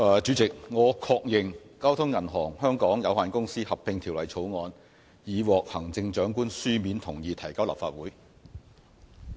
主席，我確認《交通銀行有限公司條例草案》已獲行政長官書面同意提交立法會。